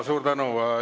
Suur tänu!